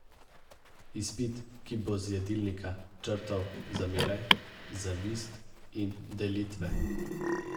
Izpit, ki bo z jedilnika črtal zamere, zavist in delitve.